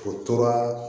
O tora